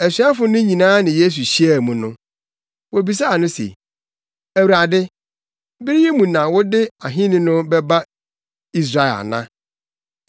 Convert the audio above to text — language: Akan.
Asuafo no nyinaa ne Yesu hyiaa mu no, wobisaa no se, “Awurade, bere yi mu na wode ahenni no bɛba Israel ana?”